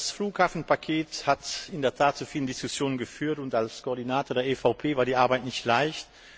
Das Flughafenpaket hat in der Tat zu vielen Diskussionen geführt, und als Koordinator der EVP war die Arbeit nicht leicht.